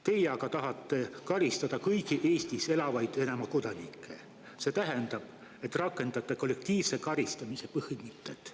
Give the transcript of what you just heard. Teie aga tahate karistada kõiki Eestis elavaid Venemaa kodanikke, see tähendab, et rakendate kollektiivse karistamise põhimõtet.